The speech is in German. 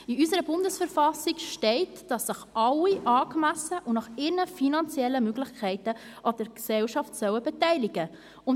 In unserer Bundesverfassung steht, dass sich alle angemessen und nach ihren finanziellen Möglichkeiten an der Gesellschaft beteiligen sollen.